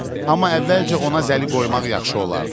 Amma əvvəlcə ona zəli qoymaq yaxşı olardı.